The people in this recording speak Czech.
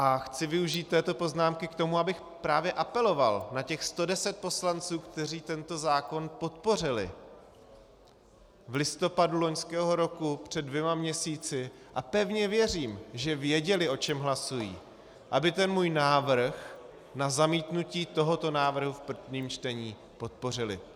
A chci využít této poznámky k tomu, abych právě apeloval na těch 110 poslanců, kteří tento zákon podpořili v listopadu loňského roku, před dvěma měsíci - a pevně věřím, že věděli, o čem hlasují -, aby ten můj návrh na zamítnutí tohoto návrhu v prvním čtení podpořili.